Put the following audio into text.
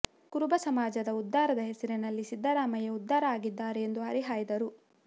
ಕುರುಬ ಸಮಾಜದ ಉದ್ಧಾರದ ಹೆಸರಲ್ಲಿ ಸಿದ್ದರಾಮಯ್ಯ ಉದ್ಧಾರ ಆಗಿದ್ದಾರೆ ಎಂದು ಹರಿಹಾಯ್ದರು